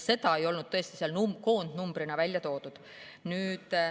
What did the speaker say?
Seda ei olnud tõesti koondnumbrina välja toodud.